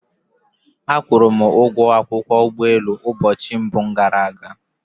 A kwụrụ m ụgwọ akwụkwọ ụgbọelu ụbọchị mbụ gara aga